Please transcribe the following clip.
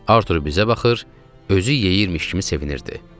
Artur bizə baxır, özü yeyirmiş kimi sevinirdi.